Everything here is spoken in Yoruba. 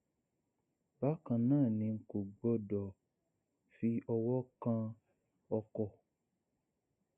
bákan náà ni kò gbọdọ fi ọwọ kan ọkọ